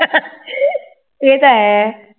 ਇਹ ਤਾਂ ਹੈ